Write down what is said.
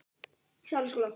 Núna er kallið komið.